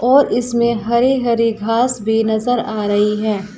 और इसमें हरी हरी घास भी नजर आ रही है।